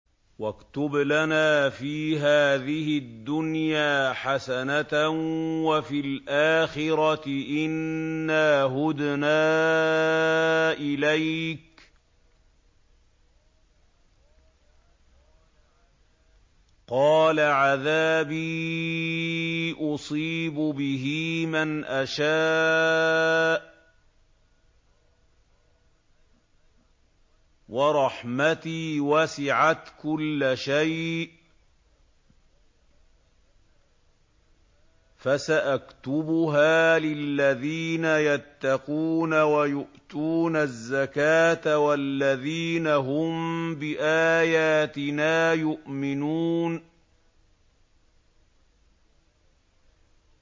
۞ وَاكْتُبْ لَنَا فِي هَٰذِهِ الدُّنْيَا حَسَنَةً وَفِي الْآخِرَةِ إِنَّا هُدْنَا إِلَيْكَ ۚ قَالَ عَذَابِي أُصِيبُ بِهِ مَنْ أَشَاءُ ۖ وَرَحْمَتِي وَسِعَتْ كُلَّ شَيْءٍ ۚ فَسَأَكْتُبُهَا لِلَّذِينَ يَتَّقُونَ وَيُؤْتُونَ الزَّكَاةَ وَالَّذِينَ هُم بِآيَاتِنَا يُؤْمِنُونَ